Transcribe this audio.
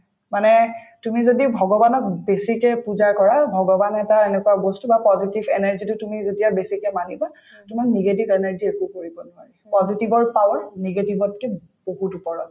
মানে তুমি যদি ভগৱানক বেছিকে পূজা কৰা ভগৱান এটা এনেকুৱা বস্তু বা positive energy যিটো তুমি যেতিয়া বেছিকে মানিবা তোমাক negative energy য়ে একো কৰিব নোৱাৰিব positive ৰ power negative তকে বহুত ওপৰত